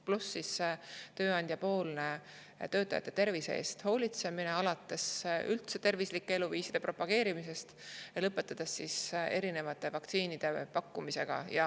Pluss tööandjapoolne töötajate tervise eest hoolitsemine, alates üldse tervislike eluviiside propageerimisest ja lõpetades erinevate vaktsiinide pakkumisega.